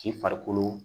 K'i farikolo